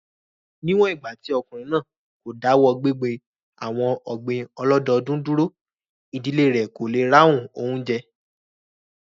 Ní wọ̀n ìgbà tí ọkùnrin náà kò dáwọ́ gbíngbin àwon ọ̀gbìn ọlọ́dọdún dúró, ìdílé rẹ̀ kò le ráhùn oúnjẹ